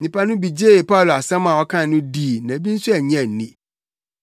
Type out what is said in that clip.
Nnipa no bi gyee Paulo asɛm a ɔkae no dii na bi nso annye anni.